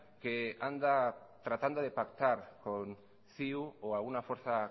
que anda tratando de pactar con ciu o alguna fuerza